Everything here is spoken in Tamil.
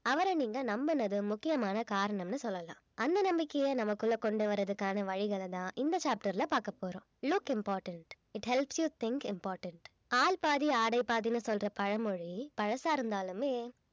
அவரை நீங்க நம்புனது முக்கியமான காரணம்னு சொல்லலாம் அந்த நம்பிக்கைய நமக்குள்ள கொண்டு வர்றதுக்கான வழிகளைதான் இந்த chapter ல பார்க்க போறோம் look important it helps you think important ஆள் பாதி ஆடை பாதின்னு சொல்ற பழமொழி பழசா இருந்தாலுமே